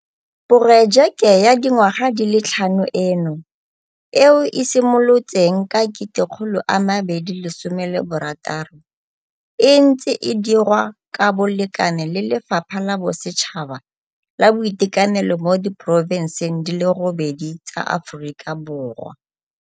Porojeke ya dingwaga di le tlhano eno, eo e simolotseng ka 2016, e ntse e dirwa ka bolekane le Lefapha la Bosetšhaba la Boitekanelo mo diporofenseng di le robedi tsa Aforika Borwa.